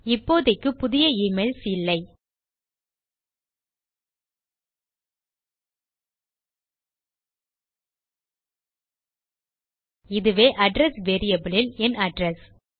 இப்போதைக்கு புதிய எமெயில்ஸ் இல்லை இதுவே அட்ரெஸ் வேரியபிள் இல் என் அட்ரெஸ்